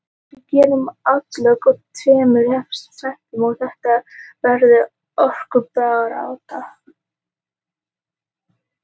Við gerum atlögu að tveimur efstu sætunum en þetta verður hörkubarátta.